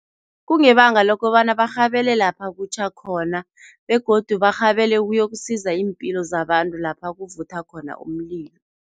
Kungebanga lokobana barhabele lapha kutjha khona begodu barhabele ukuyokusiza iimpilo zabantu, lapha kuvutha khona umlilo.